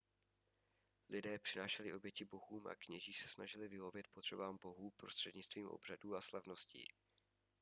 lidé přinášeli oběti bohům a kněží se snažili vyhovět potřebám bohů prostřednictvím obřadů a slavností